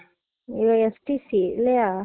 ஒ STC இல்லையா